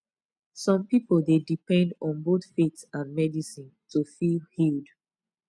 some people dey depend on both faith and medicine to feel healed